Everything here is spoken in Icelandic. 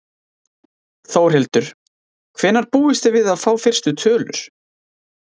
Þórhildur: Hvenær búist þið við að fá fyrstu tölur?